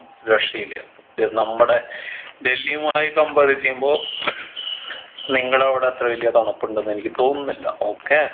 രക്ഷയില്ല ഇത് നമ്മടെ ഡൽഹിയുമായി compare ചെയ്യുമ്പൊ നിങ്ങടെ അവിടെ അത്ര വലിയ തണുപ്പുണ്ടെന്ന് എനിക്ക് തോന്നുന്നില്ല okay